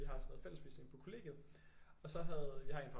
Vi har sådan noget fællesspisning på kollegiet og så havde vi har en fra